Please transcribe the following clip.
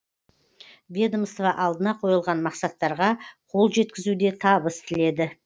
ведомство алдына қойылған мақсаттарға қол жеткізуде табыс тіледі